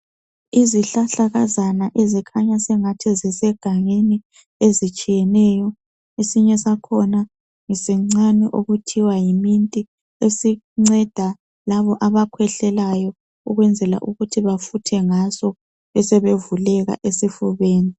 Izihlahlakazana ezikhanya sengathi zisegangeni ezitshiyeneyo . Esinye sakhona ngesincane okuthiwa yiminti. Esinceda labo abakhwehlelayo ukwenzela ukuthi bathathe ngaso ukwenzela ukuthi bafuthe ngaso besebevuleka esifubeni.